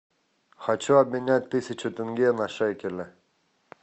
хочу обменять тысячу тенге на шекели